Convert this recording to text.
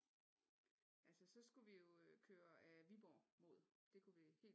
Altså så skulle vi jo køre ad Viborg mod det kunne vi